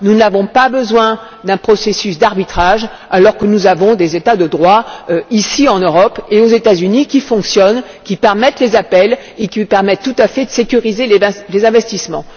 Nous n'avons pas besoin d'un processus d'arbitrage alors que nous avons des États de droit ici en Europe et aux États Unis qui fonctionnent, qui permettent les appels et qui permettent tout à fait de sécuriser les investissements.